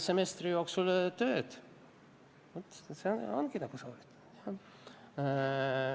Semestri jooksul töö tegemine ongi sooritamine.